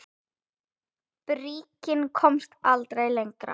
Bríkin komst aldrei lengra.